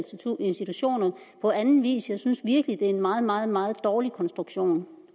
institutioner på anden vis jeg synes virkelig det er en meget meget meget dårlig konstruktion